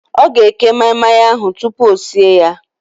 Ọ ga-eke maị-maị ahụ tupu o sie ya